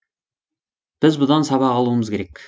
біз бұдан сабақ алуымыз керек